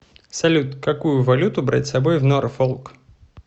салют какую валюту брать с собой в норфолк